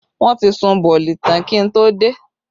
Wọn ti sun bọ̀ọ̀lì tán kí n tó dé